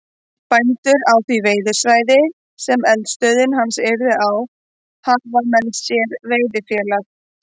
Bændur á því veiðisvæði, sem eldisstöð hans yrði á, hafa með sér veiðifélag